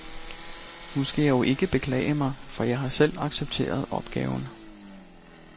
Nu skal jeg jo ikke beklage sig, for jeg har selv accepteret opgaven.